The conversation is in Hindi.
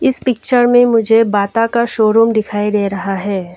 इस पिक्चर में मुझे बाटा का शोरूम दिखाई दे रहा है।